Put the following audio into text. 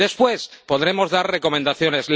Después, podremos dar recomendaciones.